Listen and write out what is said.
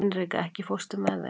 Hinrika, ekki fórstu með þeim?